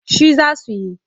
Shi za su yi.